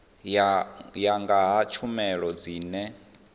ya nga ha tshumelo dzine